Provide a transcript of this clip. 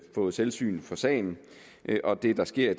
fået syn syn for sagen det der sker